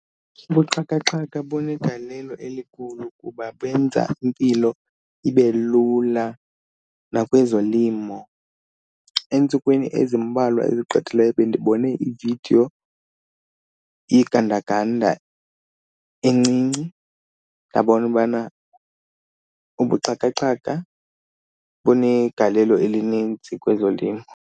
Ubuxhakaxhaka bunegalelo elikhulu kuba benza impilo ibe lula nakwezolimo. Eentsukwini ezimbalwa ezigqithileyo bendibone ividiyo yegandaganda encinci, ndabona ubana ubuxhakaxhaka bunegalelo elinintsi kwezolimo.